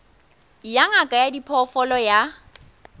ya ngaka ya diphoofolo ya